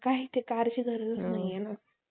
काही ते कारची गरजच नाहीये ना